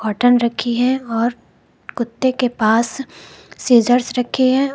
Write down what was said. Cotton रखी है और कुत्ते के पास सीजर्स रखी है।